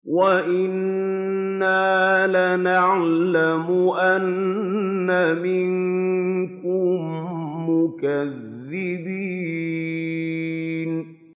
وَإِنَّا لَنَعْلَمُ أَنَّ مِنكُم مُّكَذِّبِينَ